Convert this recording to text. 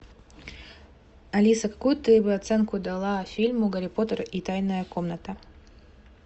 алиса какую бы ты оценку дала фильму гарри поттер и тайная комната